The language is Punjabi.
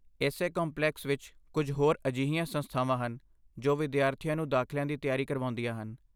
ਇਸੇ ਕੰਪਲੈਕਸ ਵਿੱਚ ਕੁੱਝ ਹੋਰ ਅਜਿਹੀਆਂ ਸੰਸਥਾਵਾਂ ਹਨ ਜੋ ਵਿਦਿਆਰਥੀਆਂ ਨੂੰ ਦਾਖ਼ਲਿਆਂ ਦੀ ਤਿਆਰੀ ਕਰਵਾਉਂਦੀਆਂ ਹਨ।